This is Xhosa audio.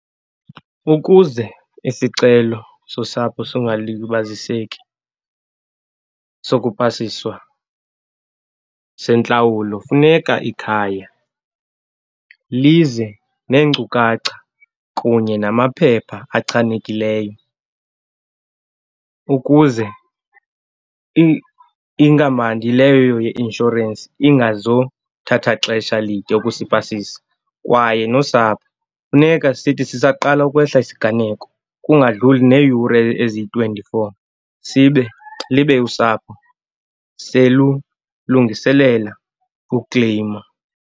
Ukuze isicelo sosapho singalibaziseki, sokupasiswa sentlawulo funeka ikhaya lize neenkcukacha kunye namaphepha achanekileyo, ukuze inkampani leyo ye-inshorensi ingazothatha xesha lide ukusipasisa, kwaye nosapho funeka sithi sisaqala ukwehla isiganeko kungadlluli neeyure eziyi-twenty-four sibe, libe usapho selulungiselela ukleyima.